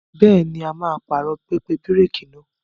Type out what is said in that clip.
Bẹ́ẹ̀ni, a máa pààrọ̀ pẹpẹ bíréékì náà.